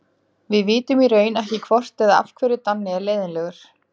Við vitum í raun ekki hvort eða af hverju Danni er leiðinlegur.